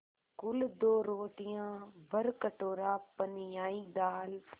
कुल दो रोटियाँ भरकटोरा पनियाई दाल